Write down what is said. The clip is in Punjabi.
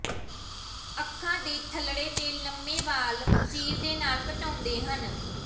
ਅੱਖਾਂ ਦੇ ਥੱਲੜੇ ਤੇ ਲੰਮੇ ਵਾਲ ਚੀਰ ਦੇ ਨਾਲ ਘਟਾਉਂਦੇ ਹਨ